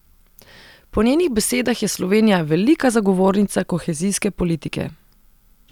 Po njenih besedah je Slovenija velika zagovornica kohezijske politike.